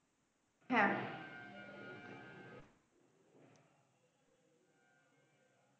হ্যাঁ